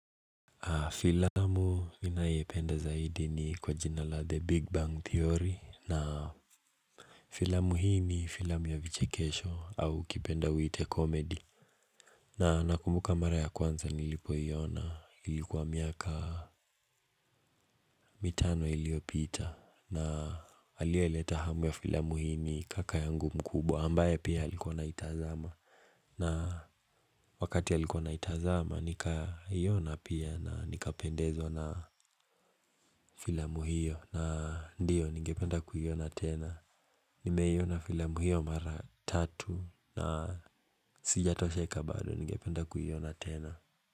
Filamu ninayependa zaidi ni kwa jina la The Big Bang Theory na Filamu hii ni filamu ya vichekesho au ukipenda uite komedi. Na nakumbuka mara ya kwanza nilipoiona ilikuwa miaka mitano iliyopita na aliyeleta hamu ya filamu hii ni kaka yangu mkubwa ambaye pia alikuwa anaitazama. Na wakati alikuwa anaitazama nikaiona pia na nikapendezwa na filamu hiyo. Na ndiyo, ningependa kuiona tena. Nimeiona filamu hiyo mara tatu na Sijatosheka bado. Ningependa kuiona tena.